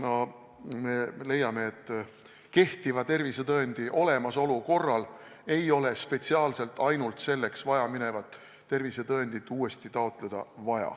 Ja me leiame ka, et kehtiva tervisetõendi olemasolu korral ei ole vaja uuesti mingit spetsiaalset tervisetõendit taotleda.